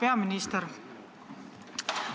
Hea peaminister!